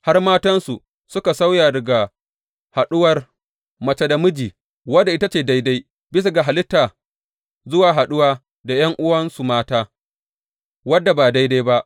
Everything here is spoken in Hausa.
Har matansu suka sauya daga haɗuwar mace da miji wadda ita ce daidai bisa ga halitta zuwa haɗuwa da ’yan’uwansu mata wadda ba daidai ba.